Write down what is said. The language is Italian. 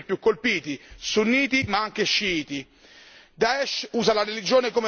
anche che i musulmani stessi, per numero di vittime, sono i più colpiti, sunniti ma anche sciiti.